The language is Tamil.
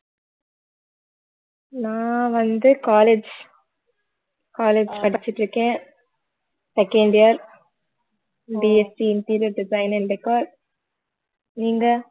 நான் வந்து college college படிச்சிட்டு இருக்கேன் second year interior design and decor நீங்க